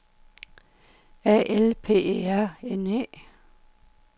A L P E R N E